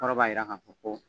Kɔrɔ b'a yira k'a fɔ ko